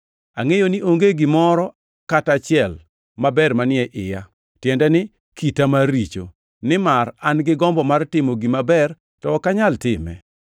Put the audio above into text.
Angʼeyo ni onge gimoro kata achiel maber manie iya, tiende ni, kita mar richo. Nimar an-gi gombo mar timo gima ber to ok anyal time.